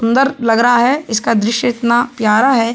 सुन्दर लग रहा है इसका दृश्य इतना प्यार है।